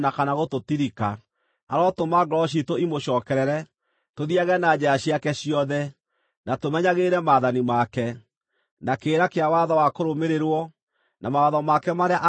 Arotũma ngoro ciitũ imũcookerere, tũthiiage na njĩra ciake ciothe, na tũmenyagĩrĩre maathani make, na kĩrĩra kĩa watho wa kũrũmĩrĩrwo, na mawatho make marĩa aaheire maithe maitũ.